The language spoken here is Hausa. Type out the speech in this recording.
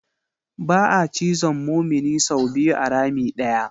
Ba'a cizon mumini sau biyu a rami ɗaya.